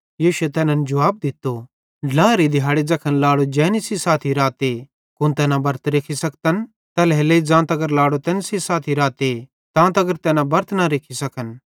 यीशुए तैनन् जुवाब दित्तो ड्लाएरे दिहाड़े ज़ैखन लाड़ो जैनी सेइं साथी राते कुन तैना बरत रेख्खी सकतन बिलकुल नईं तैल्हेरेलेइ ज़ां तगर लाड़ो तैन सेइं साथी राते तां तगर तैना बरत न रेख्खी सकन किजोकि तैना खुशी आन